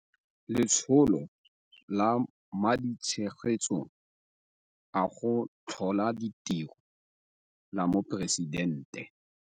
Letsholo la Maditshegetso a go Tlhola Ditiro la Moporesitente.